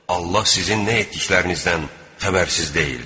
Allah sizin nə etdiklərinizdən xəbərsiz deyildir.